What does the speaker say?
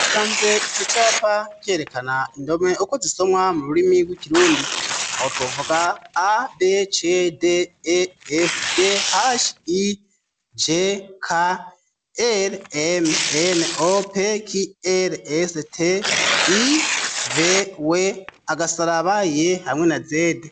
Sanze ico capa cerekana indome uko zisomwa mu rurimi rwikirundi aho twovuga a becde e f ge hash i je ka el emnope ki elst i ve we agasara baye hamwena zedi.